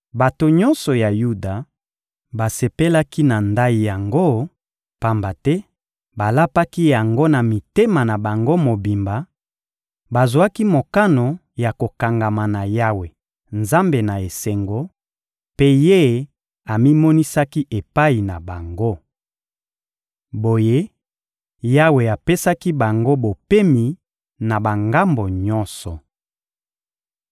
Bato nyonso ya Yuda basepelaki na ndayi yango, pamba te balapaki yango na mitema na bango mobimba; bazwaki mokano ya kokangama na Yawe Nzambe na esengo, mpe Ye amimonisaki epai na bango. Boye, Yawe apesaki bango bopemi na bangambo nyonso. (1Ba 15.13-15)